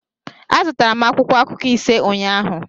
Azụtara m akwụkwọ akụkọ ise ụnyahụ